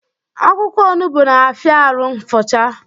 Akwụkwọ onugbu na-afia arụ nfucha